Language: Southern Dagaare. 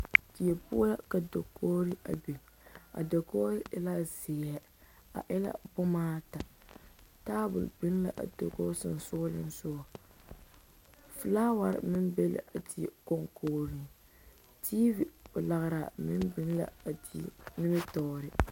Die poɔ la ka dakogre a biŋ a dakogre e la zeɛ a e la boma ata tabol biŋ la a dakogi seŋsogleŋ soga filaaware meŋ be la a die koŋkogreŋ tv lagraaŋ meŋ biŋ la a die nimitɔɔre.